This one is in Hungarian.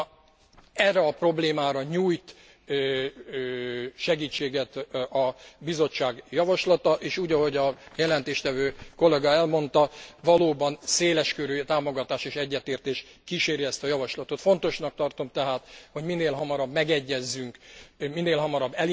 Na erre a problémára nyújt segítséget a Bizottság javaslata és úgy, ahogy a jelentéstevő kollega elmondta, valóban széleskörű támogatás és egyetértés kíséri ezt a javaslatot. Fontosnak tartom tehát, hogy minél hamarabb megegyezzünk a